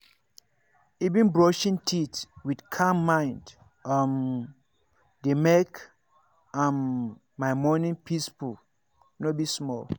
even brushing teeth with calm mind um dey make um my morning peaceful no be small.